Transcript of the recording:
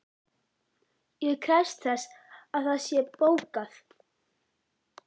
Ég krefst þess að það sé þegar bókað.